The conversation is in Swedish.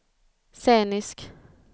scenisk